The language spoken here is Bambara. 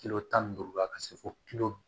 tan ni duuru la ka se fo